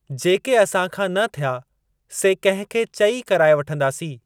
जेके असां खां न थिया, से कंहिं खे चई कराए वठंदासीं।